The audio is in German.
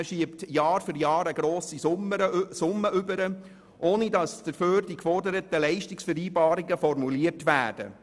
Man schiebt der Kirche Jahr für Jahr grosse Summen zu, ohne dass dafür die geforderten Leistungsvereinbarungen formuliert werden.